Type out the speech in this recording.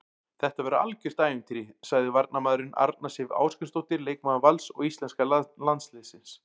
Þetta verður algjört ævintýri, sagði varnarmaðurinn, Arna Sif Ásgrímsdóttir leikmaður Vals og íslenska landsliðsins.